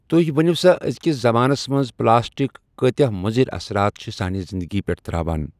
تُہۍ ؤنِو سا أزکِس زَمانَس منٛز پٕلاسٹِک کٲتیٛاہ مُضِر اَثرات چھِ سانہِ زِندگی پٮ۪ٹھ ترٛاوَن۔